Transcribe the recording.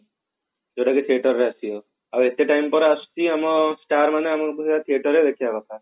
ଯୋଉଟା କି theater ରେ ଆସିବ ଆଉ ଏତେ time ପରେ ଆସୁଛି ଆମ star ମାନେ ଆମକୁ ତ theater ରେ ଦେଖିବା କଥା